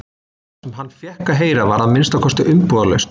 Það sem hann fékk að heyra var að minnsta kosti umbúðalaust.